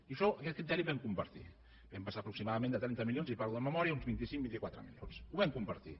i això aquest criteri el vam compartir vam passar aproximadament de trenta milions i parlo de memòria a uns vint cinc vint quatre milions ho vam compartir